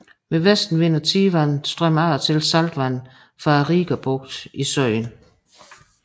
Ved vestenvind og tidevand strømmer af og til saltvand fra Rigabugten i søen